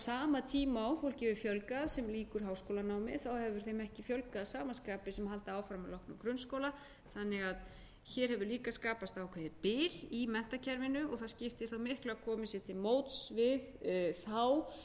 sama tíma og fólki hefur fjölgað sem lýkur háskólanámi þá hefur þeim ekki fjölgað að sama skapi sem halda áfram að loknum grunnskóla þannig að hér hefur líka skapast ákveðið bil í menntakerfinu og það skiptir þá miklu að komið sé til móts við þá